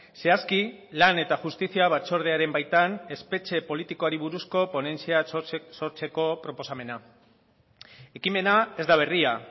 zehazki lan eta justizia batzordearen baitan espetxe politikoari buruzko ponentzia sortzeko proposamena ekimena ez da berria